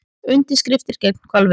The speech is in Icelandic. Undirskriftir gegn hvalveiðum